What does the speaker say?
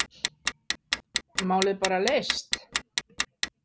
Málið bara leyst?